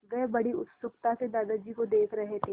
वे बड़ी उत्सुकता से दादाजी को देख रहे थे